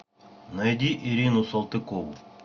найди ирину салтыкову